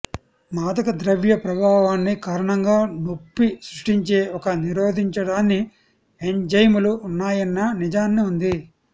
మాదకద్రవ్య ప్రభావాన్ని కారణంగా నొప్పి సృష్టించే ఒక నిరోధించడాన్ని ఎంజైములు ఉన్నాయన్న నిజాన్ని ఉంది